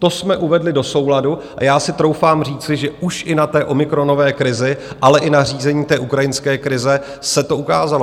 To jsme uvedli do souladu a já si troufám říci, že už i na té omikronové krizi, ale i na řízení té ukrajinské krize se to ukázalo.